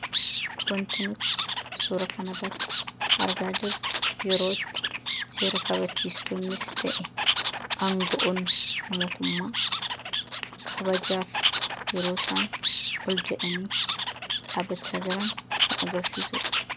Wanti nuti suuraa kanarratti agarru yerootti seera kabachiistonnis ta'ee aanga'oonni mootummaa kabajaaf yeroosaan ol jedhanii dhaabbachaa jiran kan agarsiisudha.